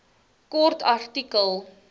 kort artikel